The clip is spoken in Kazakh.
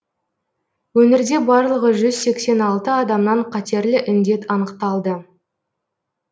өңірде барлығы жүз сексен алты адамнан қатерлі індет анықталды